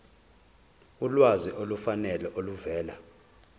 ulwazi olufanele oluvela